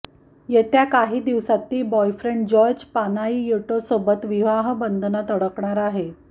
येत्या काही दिवसांत ती बॉयफ्रेण्ड जॉर्ज पानायियोटोसोबत विवाहबंधनात अडकणार आहे